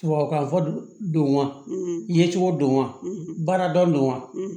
Tubabukan fɔ don wa ye cogo don wa baarada don wa